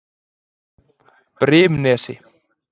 Brimnesi